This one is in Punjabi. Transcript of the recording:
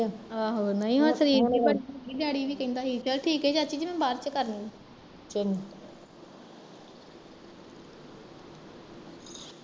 ਆਹੋ ਨਹੀਂ ਉਹ ਸ਼ਰੀਫ ਜਹੀ ਬੜੀ ਸੀਗੀ ਡੈਡੀ ਵੀ ਕਹਿਣਦਾ ਸੀ ਚਲੋ ਠੀਕ ਐ ਚਾਚੀ ਜਿ ਮੈਂ ਬਾਦ ਚ ਕਰਦੀ